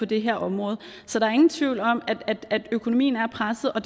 det her område så der er ingen tvivl om at økonomien er presset og